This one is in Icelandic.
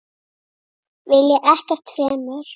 Vilja ekkert fremur.